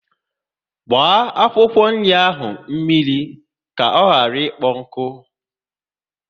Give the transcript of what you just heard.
Gbaa akwụkwọ nri ahụ mmiri ka ọ ghara ikpo nkụ!